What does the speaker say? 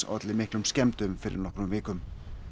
olli miklum skemmdum fyrir nokkrum vikum